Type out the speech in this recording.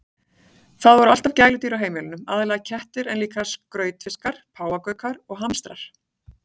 Það voru alltaf gæludýr á heimilinu, aðallega kettir en líka skrautfiskar, páfagaukar og hamstrar.